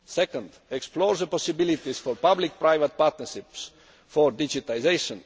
secondly, to explore the possibilities for public private partnerships for digitisation